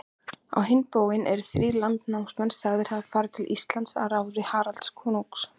Á hinn bóginn eru þrír landnámsmenn sagðir hafa farið til Íslands að ráði Haralds konungs.